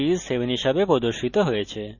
sum of a and b is 7 হিসাবে প্রদর্শিত হয়েছে